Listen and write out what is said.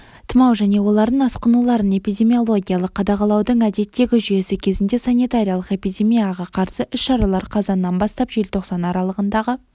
тұмау және олардың асқынуларын эпидемиологиялық қадағалаудың әдеттегі жүйесі кезінде санитариялық-эпидемияға қарсы іс-шаралар қазаннан бастап желтоқсан аралығындағы